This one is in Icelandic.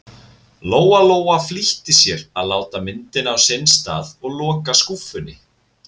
Lóa-Lóa flýtti sér að láta myndina á sinn stað og loka skúffunni.